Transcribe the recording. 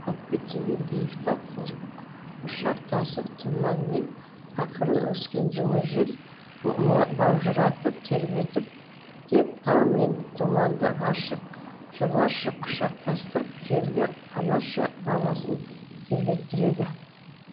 көкке тиген биік тау құшақтасып тұманмен ақырын өскен жылы жел маужыратып тербетіп деп тау мен тұманды ғашық жарларша құшақтастырып желге анаша баласын тербеттіреді